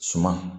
Suma